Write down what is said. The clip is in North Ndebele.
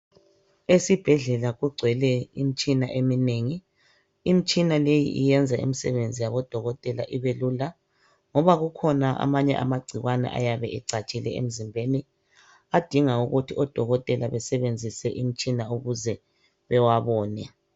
Esibhdlela kugcwele imtshina eminengi. Imtshina leyi iyenza imsebenzi yabodokotela ibelula. Ngoba kukhona amanye amagciwane ayabe ekhona emzimbeni adinga ukuthi odokotela besebenzise imtshina ukuze bewabone.